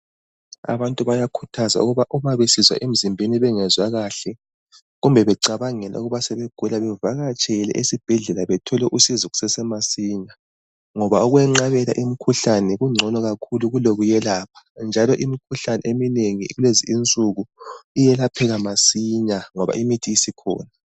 Abantu bayakhuthazwa ukuba uma besizwa emzimbeni bengezwa kahle kumbe becabangela ukuba sebegula bavakatshele ezibhedlela bethole usizo kusasemasinya, ngoba ukwenqabela umkhuhlane kungcono kakhulu kulokuyelapha njalo imikhuhlane eminengi kulezi insuku iyelapheka masinya ngoba imithi isikhona.